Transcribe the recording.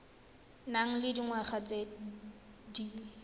nang le dingwaga tse di